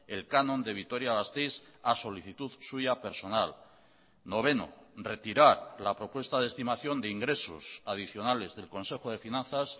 el canon de vitoria gasteiz a solicitud suya personal noveno retirar la propuesta de estimación de ingresos adicionales del consejo de finanzas